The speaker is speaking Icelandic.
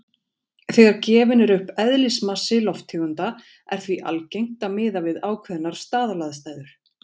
Þegar gefinn er upp eðlismassi lofttegunda er því algengt að miða við ákveðnar staðalaðstæður.